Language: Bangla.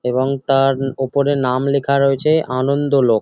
এবং তার ওপরে নাম লেখা রয়েছে আনন্দ লোক।